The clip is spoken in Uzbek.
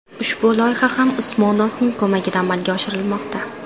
Ushbu loyiha ham Usmonovning ko‘magida amalga oshirilmoqda.